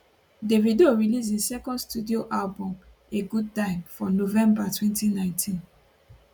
davido release im second studio album a good time for november 2019